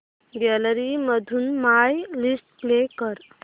gallery मधून my list play कर